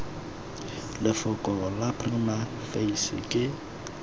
lefoko la prima facie ke